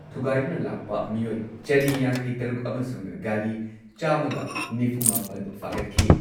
ꯊꯨꯒꯥꯏꯗꯨꯅ ꯂꯥꯛꯄ ꯃꯤꯑꯣꯏ ꯆꯅꯤ ꯌꯥꯡꯈꯩꯇꯔꯨꯛ ꯑꯃꯁꯨꯡ ꯒꯥꯔꯤ ꯆꯥꯝꯃꯒ ꯅꯤꯐꯨꯃꯥꯄꯟ ꯐꯥꯒꯠꯈꯤ ꯫